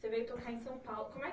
Você veio tocar em São Paulo. Como é